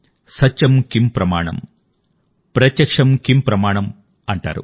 సత్యమ్ కిమ్ ప్రమాణం ప్రత్యక్షమ్ కిమ్ ప్రమాణమ్ అంటారు